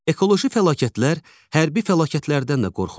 Ekoloji fəlakətlər hərbi fəlakətlərdən də qorxuludur.